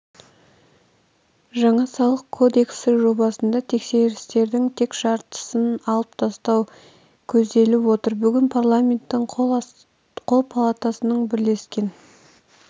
жаңа салық кодексі жобасында тексерістердің тең жартысын алып тастау көзделіп отыр бүгін парламенттің қос палатасының бірлескен